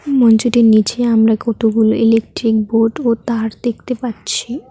এই মঞ্চটির নীচে আমরা কতগুলো ইলেকট্রিক বোর্ড ও তার দেখতে পাচ্ছি।